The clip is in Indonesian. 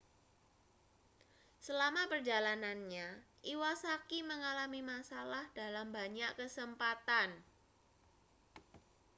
selama perjalanannya iwasaki mengalami masalah dalam banyak kesempatan